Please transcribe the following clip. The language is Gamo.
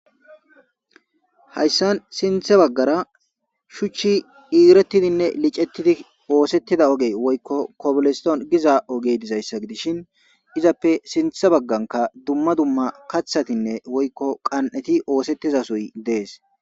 Haysan sinthe bagara shuuchi xiiretidine lichetidi oosetida oge woyko kobl Stone giza oge dizaysa gidishin issioy izape sintha bagaraka duma duma kathatine woyko kan'eti oosetidasoy de'es.